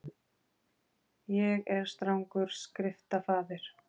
Ég er strangur skriftafaðir.